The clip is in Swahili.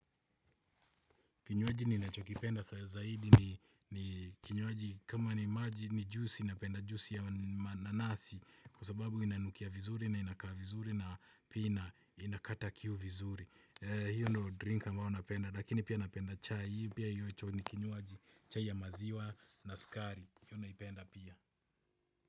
Kinywaji ni nacho kipenda sa zaidi ni kinywaji kama ni maji ni juice inapenda juice ya mananasi. Kwasababu inanukia vizuri na inakaa vizuri na pia na inakata kiu vizuri. Hiyo ndo drink ambayo napenda lakini pia napenda chai. Pia hiyo icho ni kinywaji chai ya maziwa na sukari pia na ipenda pia.